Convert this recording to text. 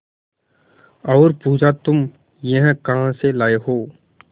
और पुछा तुम यह कहा से लाये हो